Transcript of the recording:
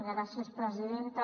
gràcies presidenta